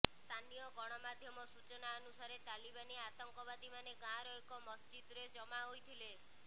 ସ୍ଥାନୀୟ ଗଣମାଧ୍ୟମ ସୂଚନା ଅନୁସାରେ ତାଲିବାନୀ ଆତଙ୍କବାଦୀମାନେ ଗାଁର ଏକ ମସଜିଦରେ ଜମା ହୋଇଥିଲେ